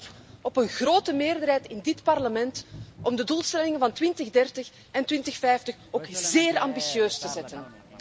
En ik hoop op een grote meerderheid in dit Parlement om de doelstellingen van 2030 en 2050 ook zeer ambitieus te zetten.